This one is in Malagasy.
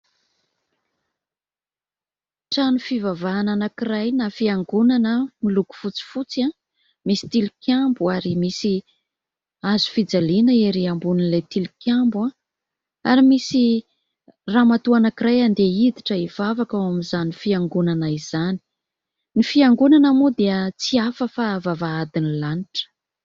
Trano fivavahana anankiray na fiangonana miloko fotsifotsy misy tilikambo ary misy hazo fijaliana ery ambonin'ilay tilikambo ary misy ramatoa anankiray andeha hiditra hivavaka ao amin'izany fiangonana izany. Ny fiangonana moa dia tsy hafa fa vavahadin'ny lanitra